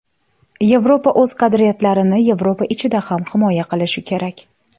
Yevropa o‘z qadriyatlarini Yevropa ichida ham himoya qilishi kerak.